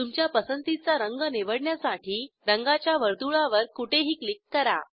तुमच्या पसंतीचा रंग निवडण्यासाठी रंगाच्या वर्तुळावर कुठेही क्लिक करा